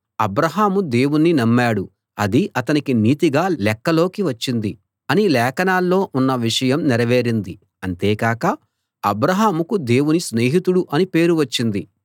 అబ్రాహాము దేవుణ్ణి నమ్మాడు అది అతనికి నీతిగా లెక్కలోకి వచ్చింది అని లేఖనాల్లో ఉన్న విషయం నెరవేరింది అంతేకాక అబ్రాహాముకు దేవుని స్నేహితుడు అని పేరు వచ్చింది